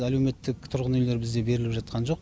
әлеуметтік тұрғын үйлер бізде беріліп жатқан жоқ